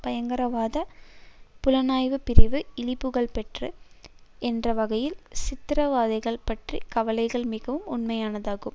பயங்கரவாத புலனாய்வுப் பிரிவு இழிபுகழ்பெற்றது என்ற வகையில் சித்திரவதைகள் பற்றிய கவலைகள் மிகவும் உண்மையானதாகும்